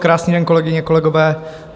Krásný den, kolegyně, kolegové.